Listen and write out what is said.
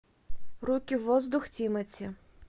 руки в воздух тимати